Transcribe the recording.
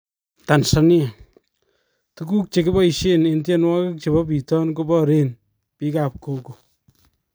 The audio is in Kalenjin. Tanzania:Tukuk chekiboisien en tyenwokik chebo biitoon koboreen biik ab Gogo